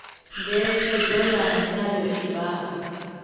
ngeletshedzo ya mulayo i bvaho